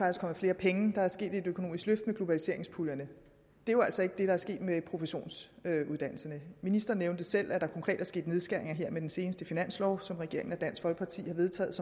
er kommet flere penge der er sket et økonomisk løft med globaliseringspuljerne det er jo altså ikke det der er sket med professionsuddannelserne ministeren nævnte selv at der konkret er sket nedskæringer professionsuddannelserne her med den seneste finanslov som regeringen og dansk folkeparti har vedtaget